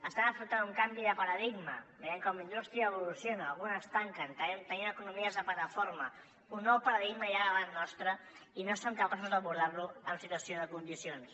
estem afrontant un canvi de paradigma veiem com la indústria evoluciona algunes tanquen tenim economies de plataforma un nou paradigma hi ha davant nostre i no som capaços d’abordar lo en situació de condicions